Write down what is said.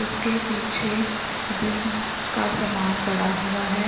उसके पीछे जिम का सामान पड़ा हुआ है।